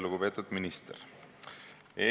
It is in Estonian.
Lugupeetud minister!